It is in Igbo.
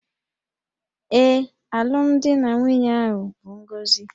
Ee, alụmdi na nwunye ahụ bụ ngọzi